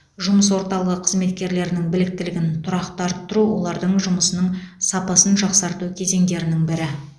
жұмыс орталығы қызметкерлерінің біліктілігін тұрақты арттыру олардың жұмысының сапасын жақсарту кезеңдерінің бірі